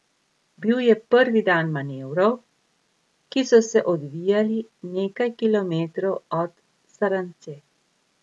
Bil je prvi dan manevrov, ki so se odvijali nekaj kilometrov od Saranze.